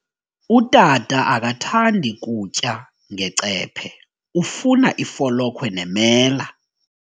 Utata akathandi kutya ngecephe, ufuna ifolokhwe nemela.